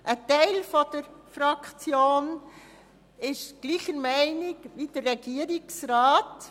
Ein Teil der Fraktion ist derselben Meinung wie der Regierungsrat.